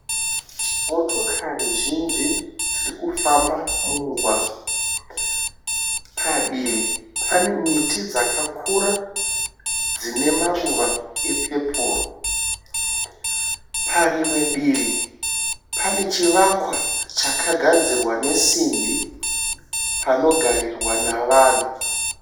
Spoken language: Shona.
Motokari zhinji dziri kufamba mumugwagwa padivi pane miti dzakakura dzine maruva epepuru parimwe divi pane chivakwa chakagadzirwa nesimbi panogarirwa navanhu.